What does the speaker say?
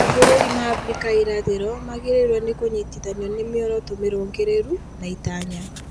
Mabũrũri ma Abrika ya irathĩro magĩrĩirwo nĩ kũnyitithanio nĩ mĩoroto mĩrũngĩrĩru na itanya